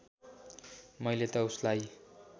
मैले त उसलाई